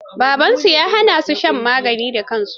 Babansu ya hana su shan magani da kansu.